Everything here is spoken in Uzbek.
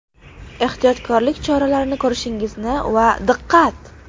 Ehtiyotkorlik choralarini ko‘rishingizni va ‘Diqqat!